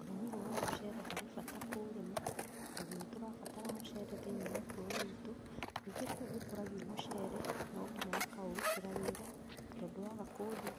Ũrĩmi ũyũ wa mũcere harĩ bata kũũrĩma tondũ nĩtũrabatara mũcere thĩinĩ wa ũtũro witũ. Nĩngĩ kũu gũkũragio mũcere no nginya makaũrutĩra wĩra tondũ waga